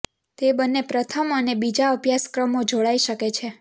તે બંને પ્રથમ અને બીજા અભ્યાસક્રમો જોડાઈ શકે છે